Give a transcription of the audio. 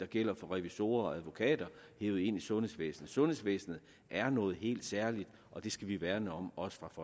gælder for revisorer og advokater hevet ind i sundhedsvæsenet sundhedsvæsenet er noget helt særligt og det skal vi værne om